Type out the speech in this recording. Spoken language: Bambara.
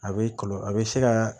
A bɛ kɔlɔ a bɛ se ka